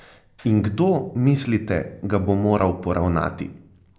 In kdo, mislite, ga bo moral poravnati?